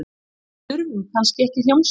Við þurfum kannski ekki hljómsveit.